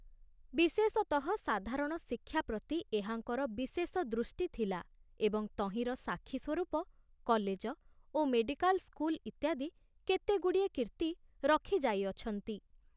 ବିଶେଷତଃ ସାଧାରଣ ଶିକ୍ଷା ପ୍ରତି ଏହାଙ୍କର ବିଶେଷ ଦୃଷ୍ଟି ଥିଲା ଏବଂ ତହିଁର ସାକ୍ଷୀ ସ୍ବରୂପ କଲେଜ ଓ ମେଡ଼ିକାଲ ସ୍କୁଲ ଇତ୍ୟାଦି କେତେଗୁଡ଼ିଏ କୀର୍ତ୍ତି ରଖାଯାଇଅଛନ୍ତି।